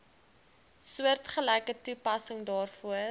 soortgelyke toepassing daarvoor